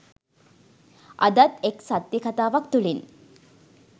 අදත් එක් සත්‍යකතාවක් තුළින්